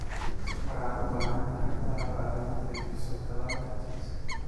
Waxaad u baahan tahay qalab aad ugu qaybiso tallaalka chicks.